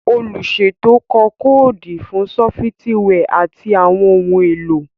Oluṣeto kọ koodu fun sọfitiwia ati awọn ohun elo.